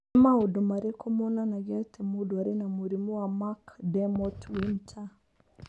Nĩ maũndũ marĩkũ monanagia atĩ mũndũ arĩ na mũrimũ wa Mac Dermot Winter?